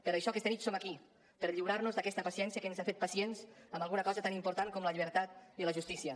per això aquesta nit som aquí per lliurar nos d’aquesta paciència que ens ha fet pacients en alguna cosa tan important com la llibertat i la justícia